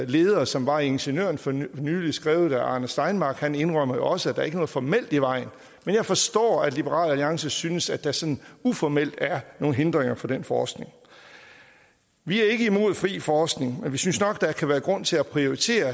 leder som var i ingeniøren for nylig skrevet af arne steinmark for han indrømmer også at der ikke er noget formelt i vejen men jeg forstår at liberal alliance synes at der sådan uformelt er nogle hindringer for den forskning vi er ikke imod fri forskning men vi synes nok at der kan være grund til at prioritere